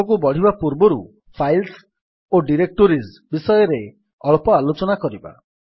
ଆଗକୁ ବଢ଼ିବା ପୂର୍ବରୁ ଫାଇଲ୍ସ ଓ ଡିରେକ୍ଟୋରୀଜ୍ ବିଷୟରେ ଅଳ୍ପ ଆଲୋଚନା କରିବା